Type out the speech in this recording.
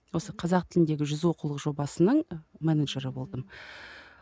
осы қазақ тіліндегі жүз оқулық жобасының ы менеджері болдым